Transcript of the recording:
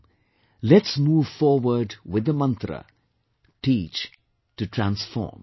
Come, let's move forward with the mantra, Teach to Transform